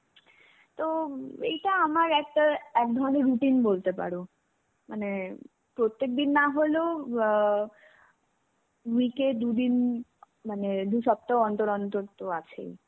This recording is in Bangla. তো, এইটা আমার একটা একধরনের routine বলতে পারো. মানে প্রত্যেকদিন নাহলেও ও বা week এ দুদিন মানে দুসপ্তাহ অন্তর অন্তর তো আছেই.